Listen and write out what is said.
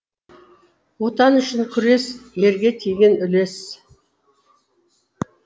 отан үшін күрес ерге тиген үлес